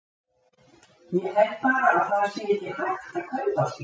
Ég held bara að það sé ekki hægt að kaupa slíkt.